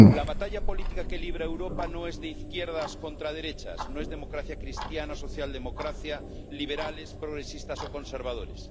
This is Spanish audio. La batalla política que libra Europa no es de izquierdas contra derechas, no es democracia cristiana, socialdemocracia, liberales, progresistas o conservadores.